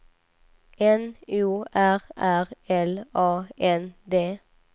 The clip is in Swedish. N O R R L A N D